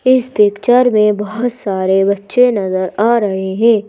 इस पिक्चर में बहोत सारे बच्चे नजर आ रहे हैं।